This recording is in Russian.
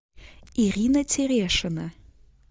ирина терешина